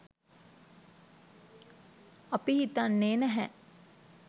අපි හිතන්නේ නැහැ